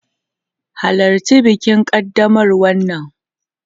Halarci bikin ƙaddamarwa nan!